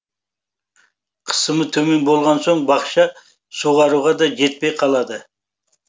қысымы төмен болған соң бақша суаруға да жетпей қалады